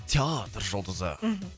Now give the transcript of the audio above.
театр жұлдызы мхм